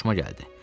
Xoşuma gəldi.